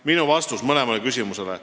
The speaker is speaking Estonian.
" Minu vastus neile kahele küsimusele.